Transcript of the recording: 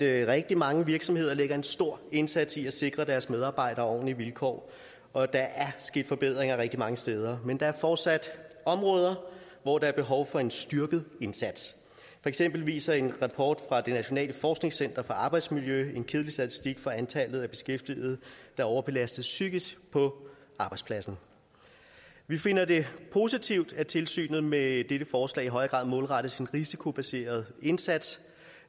rigtig mange virksomheder lægger en stor indsats i at sikre deres medarbejdere ordentlige vilkår og der er sket forbedringer rigtig mange steder men der er fortsat områder hvor der er behov for en styrket indsats for eksempel viser en rapport fra det nationale forskningscenter for arbejdsmiljø en kedelig statistik for antallet af beskæftigede der overbelastes psykisk på arbejdspladsen vi finder det positivt at tilsynet med dette forslag i højere grad målrettes en risikobaseret indsats